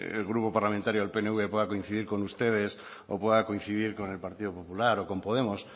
el grupo parlamentario del pnv pueda coincidir con ustedes o pueda coincidir con el partido popular o con podemos